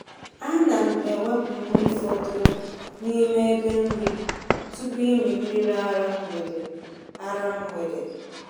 A na m ewepụ nri fọdụrụ n’ime ebe nri tupu ịmị mmiri ara mgbede. ara mgbede.